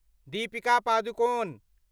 Deepika Padukone